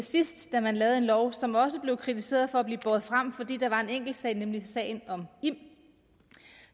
sidst da man lavede en lov som også blev kritiseret for at blive båret frem fordi det var en enkelt sag nemlig sagen om im